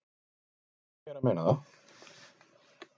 """Jú, ég er að meina það."""